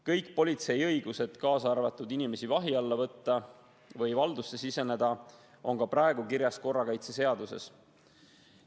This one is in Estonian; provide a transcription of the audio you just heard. Kõik politsei õigused, kaasa arvatud õigus inimesi vahi alla võtta või kellegi valdusse siseneda, on juba praegu kirjas korrakaitseseaduses.